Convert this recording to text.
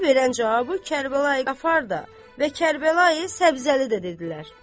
Qasıməli verən cavabı Kərbəlayı Qafar da və Kərbəlayı Səbzəli də dedilər.